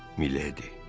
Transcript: "Mileydi."